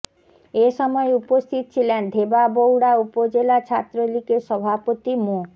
এ সময় উপস্থিত ছিলেন ধেবাবউড়া উপজেলা ছাত্রলীগের সভাপতি মো